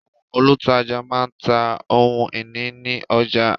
Àwọn olùtajà má ń ta ohun ìní ní ọjà